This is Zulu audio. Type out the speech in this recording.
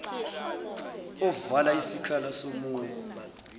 ovala isikhala somunye